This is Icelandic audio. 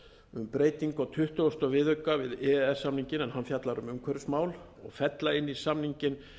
um breytingu á tuttugasta viðauka við e e s samninginn en hann fjallar um umhverfismál og fella inn í samninginn